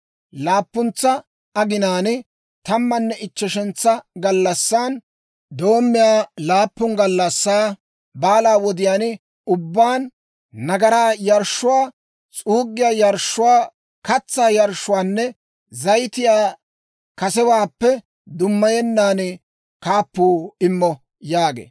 «‹ «Laappuntsa aginaan, tammanne ichcheshantsa gallassan doommiyaa laappun gallassaa baalaa wodiyaan ubbaan, nagaraa yarshshuwaa, s'uuggiyaa yarshshuwaa, katsaa yarshshuwaanne zayitiyaa kasewaappe dummayennan kaappuu immo» yaagee.